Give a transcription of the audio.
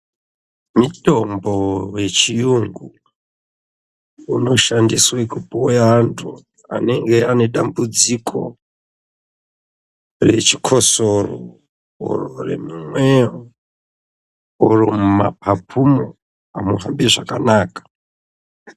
Mutombo wechiyungu unoshandiswa kupuwa andu ane dambudziko rechikosoro kana remumwoyo kana mumapapumo amuhambi zvakanaka.